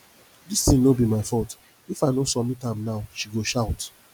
dis thing no be my fault if i no submit am now she go shout